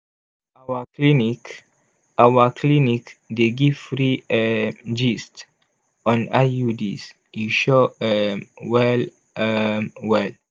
our clinic our clinic dey give free um gist on iuds e sure um well um well!